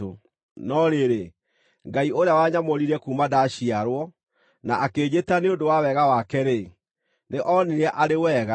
No rĩrĩ, Ngai ũrĩa wanyamũrire kuuma ndaciarwo, na akĩnjĩta nĩ ũndũ wa wega wake-rĩ, nĩ oonire arĩ wega,